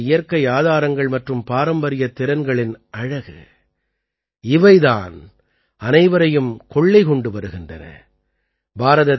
இது தான் நமது இயற்கை ஆதாரங்கள் மற்றும் பாரம்பரிய திறன்களின் அழகு இவை தான் அனைவரையும் கொள்ளை கொண்டு வருகின்றன